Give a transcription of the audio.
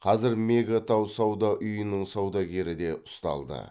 қазір мега тау сауда үйінің саудагері де ұсталды